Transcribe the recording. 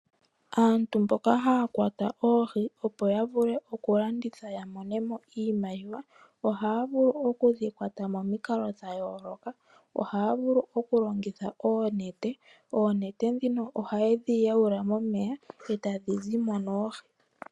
Aantu mboka haa kwata oohi opo yavule oku dhilandithapo, oha yedhi kwata momikalo dhayolokathana ngaashi okulongitha oonete ndhono hayedhi yawula momeya etadhi zimo noohi.